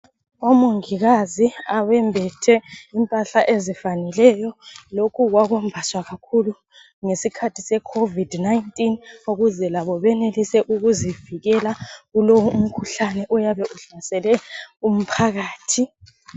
Omongikazi abembethe impahla ezifaneleyo. Lokhu kwakwembaswa kakhulu ngesikhathi se COVID-19 ukuze labo benelise ukuzivikela kulowo umkhuhlane oyabe uhlasele umphakathi.